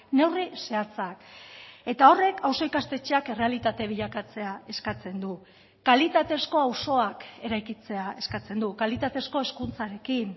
neurri zehatzak eta horrek auzo ikastetxeak errealitate bilakatzea eskatzen du kalitatezko auzoak eraikitzea eskatzen du kalitatezko hezkuntzarekin